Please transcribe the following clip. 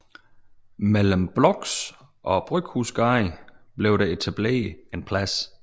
Mellem BLOX og Bryghusgade blev der så etableret en plads